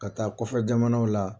Ka taa kɔfɛ jamanaw la